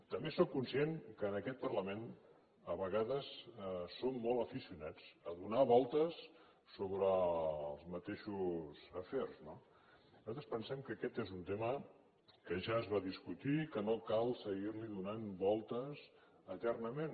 també sóc conscient que en aquest parlament a vegades som molt aficionats a donar voltes sobre els mateixos afers no nosaltres pensem que aquest és un tema que ja es va discutir que no cal seguir hi donant voltes eternament